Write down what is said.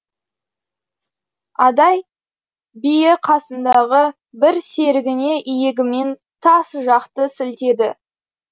адай биі қасындағы бір серігіне иегімен тас жақты сілтеді